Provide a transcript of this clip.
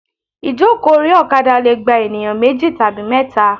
Ìjókòó orí òkadà leè gba ènìyán méjì tàbí méta